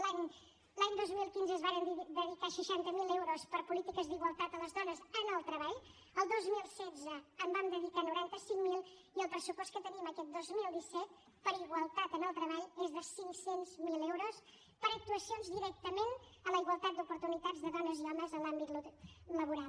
l’any dos mil quinze es varen dedicar seixanta miler euros per a polítiques d’igualtat a les dones en el treball el dos mil setze en vam dedicar noranta cinc mil i el pressupost que tenim aquest dos mil disset per a igualtat en el treball és de cinc cents miler euros per a actuacions directament a la igualtat d’oportunitats de dones i homes en l’àmbit laboral